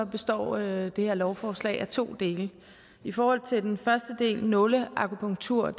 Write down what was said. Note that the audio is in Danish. består det her lovforslag af to dele i forhold til den første del nåleakupunktur